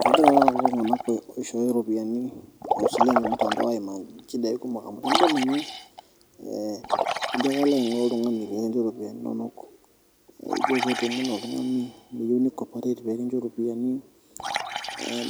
Kegira ake kulo tung'anak oishooyo isilen tormutandao aimaa nchidai kumok amu ijo tenidol ninye ee ijo ake alo ayiaya oltung'ani pee kincho iropiyiani inonok neku ijiio kemuno oltung'ani meyieu ni corperate pee kincho iropiyiani